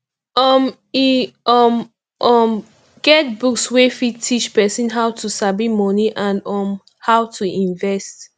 um e um um get books wey fit teach person how to sabi money and um how to invest